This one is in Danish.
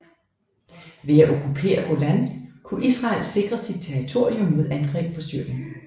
Ved at okkupere Golan kunne Israel sikre sit territorium mod angreb fra Syrien